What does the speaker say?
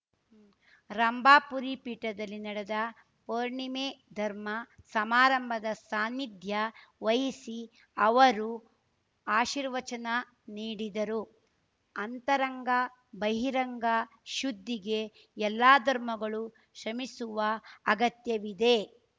ರಂಭಾಪುರಿ ಪೀಠದಲ್ಲಿ ನಡೆದ ಪೌರ್ಣಿಮೆ ಧರ್ಮ ಸಮಾರಂಭದ ಸಾನ್ನಿಧ್ಯ ವಹಿಸಿ ಅವರು ಆಶೀರ್ವಚನ ನೀಡಿದರು ಅಂತರಂಗ ಬಹಿರಂಗ ಶುದ್ಧಿಗೆ ಎಲ್ಲ ಧರ್ಮಗಳು ಶ್ರಮಿಸುವ ಅಗತ್ಯವಿದೆ